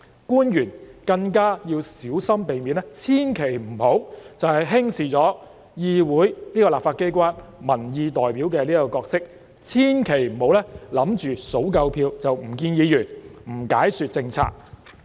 官員更應小心避免這樣做，千萬不要輕視議會——這個立法機關——民意代表的角色，千萬不要以為數夠票便不會見議員，不解說政策。